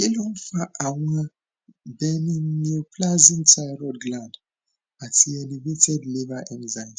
kí ló ń fa àwọn benign neoplasm thyroid gland ati elevated liver enzymes